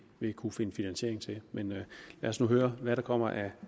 vil kunne finde finansiering til men lad os nu høre hvad der kommer af